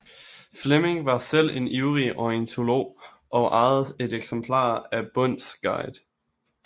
Fleming var selv en ivrig ornitolog og ejede et eksemplar af Bonds guide